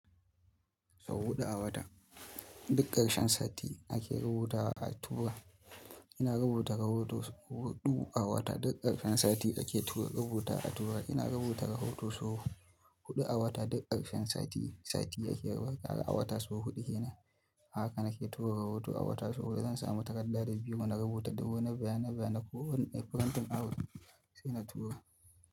Sau huɗu a wata. Duk karshen sati ake rubutawa a tura. Ina rubuta ra hoto sau huɗu a wata duk ƙarshen sati ake tura rubuta a tura. Ina rubuta ro hoto sau huɗu a wata duk ƙarshen sati, sati ake rubuta. A wata sau huɗu kenan a haka na ke tura rohoto a wata sau huɗu. Zan samu takarda biro na rubuta duk wani bayanan ko wani farantin abu sai na tura.